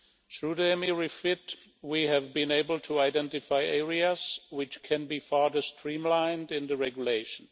Through the EMIR REFIT, we have been able to identify areas which can be further streamlined in the regulation.